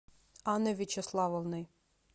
анной вячеславовной